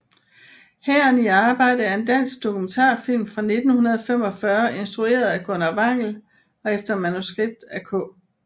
Hæren i arbejde er en dansk dokumentarfilm fra 1945 instrueret af Gunnar Wangel og efter manuskript af K